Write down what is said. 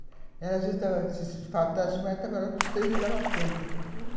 Se faltasse mais, ela trabalhava com os três e dava conta.